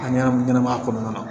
A ɲɛnam ɲɛnamaya kɔnɔna na